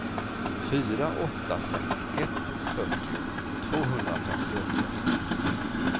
fyra åtta fem ett fyrtio tvåhundrafemtioåtta